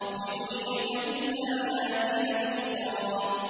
لِنُرِيَكَ مِنْ آيَاتِنَا الْكُبْرَى